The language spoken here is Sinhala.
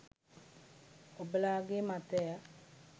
ඔබලාගේ මතය